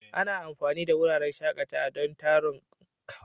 Ana amfani da wuraren shakatawa don taron kamar bikin aure.